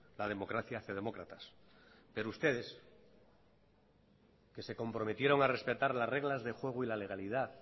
la democracia hace demócratas pero ustedes que se comprometieron a respetar las reglas de juego y la legalidad